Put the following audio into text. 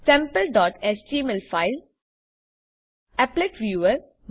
sample dot HTML file applet viewer